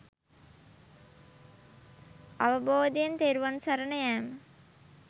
අවබෝධයෙන් තෙරුවන් සරණ යෑම.